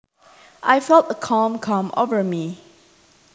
I felt a calm come over me